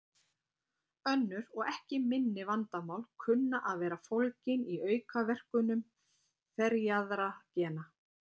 Önnur og ekki minni vandamál kunna að vera fólgin í aukaverkunum ferjaðra gena.